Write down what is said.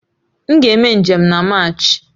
M ga-eme njem na Maachi